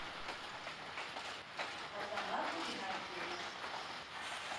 азамат игнатьевич